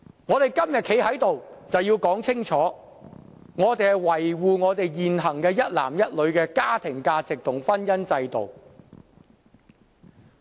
我們今天站在這裏，就是要說清楚，我們是要維護現行一男一女的家庭價值和婚姻制度。